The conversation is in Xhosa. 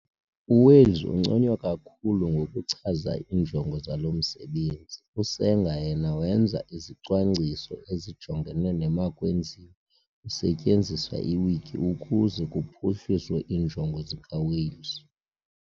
U-Wales unconywa kakhulu ngokuchaza iinjongo zalo msebenzi, U-Sanger yena wenza izicwangciso ezijongene nemakwenziwe kusetyenziswa iwiki ukuze kuphuhliswe iinjongo zikaWales'.